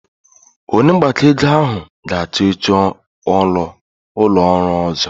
Onye mgbakọ ego ahụ ga-achọ oche ụlọ ọrụ ọzọ.